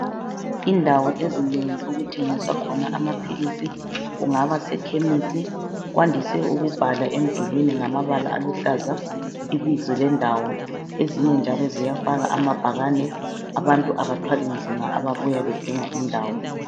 Indawo ezinengi okuthengiswa khona amaphilisi kungaba sekhemisi, kwandise ukubhala emdulwini ngamabala aluhlaza ibizo lendawo. Ezinye njalo ziyafaka amabhakane, abantu abathwali nzima ababuya bedinga indawo.